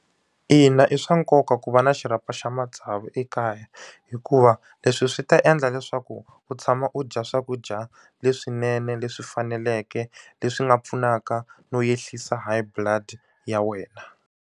Ina i swa nkoka ku va na xirhapa xa matsavu ekaya hikuva leswi swi ta endla leswaku u tshama u dya swakudya leswinene leswi faneleke leswi nga pfunaka no ehlisa High blood ya wena.